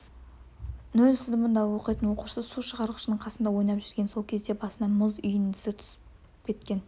нөл сыныбында оқитын оқушы су шығарғыштың қасында ойнап жүрген сол кезде басына мұз үйіндісі түсіп кеткен